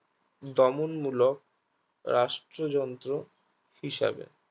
দমনমূলক রাষ্ট্রযন্ত্র হিসাবে